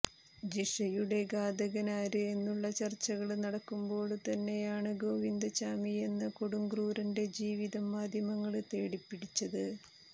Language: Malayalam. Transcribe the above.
ജിഷയുടെ ഘാതകനാര് എന്നുളള ചര്ച്ചകള് നടക്കുമ്പോള്ത്തന്നെയാണ് ഗോവിന്ദച്ചാമിയെന്ന കൊടുംക്രൂരന്റെ ജീവിതംമാധ്യമങ്ങള് തേടിപ്പിടിച്ചത്